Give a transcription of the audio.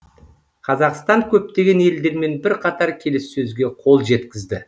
қазақстан көптеген елдермен бірқатар келіссөзге қол жеткізді